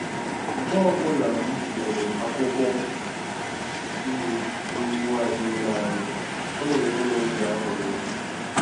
Mgbe ọbụla m hụrụ akwụkwọ nri n'ugbo azụ ụlọ anyị, ọ na-enye m obi aṅụrị